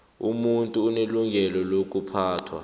umuntu unelungelo lokuphathwa